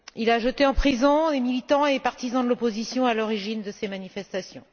Il a jeté en prison les militants et les partisans de l'opposition à l'origine de ces manifestations.